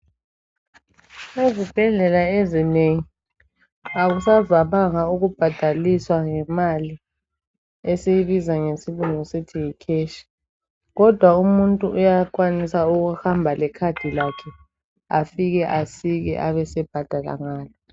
Ezibhedlela ezinengi akusavamanga ukubhadaliswa ngemali esikubiza ngesilungu sithi yi cash. Kodwa umuntu uyakwanisa ukuhamba le card lakhe afike asike abesebhadala ngalo.